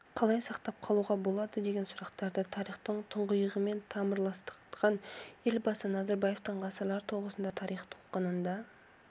қалай сақтап қалуға болады деген сұрақтарды тарихтың тұңғиығымен тамырластырған елбасы назарбаевтың ғасырлар тоғысында тарих толқынында